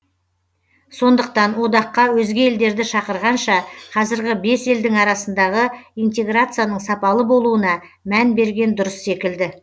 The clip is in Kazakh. сондықтан одаққа өзге елдерді шақырғанша қазіргі бес елдің арасындағы интеграцияның сапалы болуына мән берген дұрыс секілді